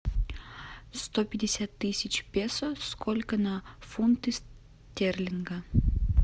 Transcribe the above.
сто пятьдесят тысяч песо сколько на фунты стерлинга